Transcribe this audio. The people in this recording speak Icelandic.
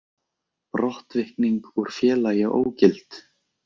Brottvikning úr félagi ógild